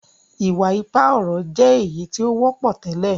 iwa-ipa ọrọ jé èyítí o wọpọ tẹlẹ.